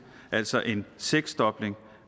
altså en seksdobling